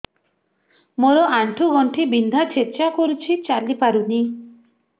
ମୋର ଆଣ୍ଠୁ ଗଣ୍ଠି ବିନ୍ଧା ଛେଚା କରୁଛି ଚାଲି ପାରୁନି